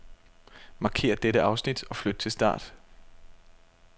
Markér dette afsnit og flyt til start.